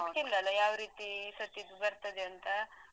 ಗೊತ್ತಿಲ್ಲಲಾ ಯಾವ ರೀತಿ ಸದ್ಯಕ್ ಬರ್ತದೆ ಅಂತ.